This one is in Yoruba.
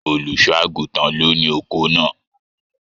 Olùṣọ àgùntàn ló ní oko náà.